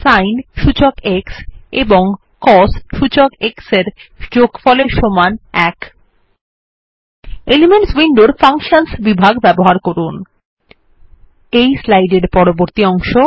sign সূচক x এবং cos সূচক x এর সমষ্টি ১ এলিমেন্টস উইন্ডোর ফাংশনস বিভাগ ব্যবহার করুন এই স্লাইড এর পরবর্তী অংশ